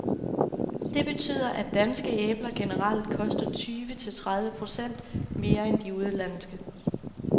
Det betyder, at danske æbler generelt koster tyve til tredive procent mere end de udenlandske.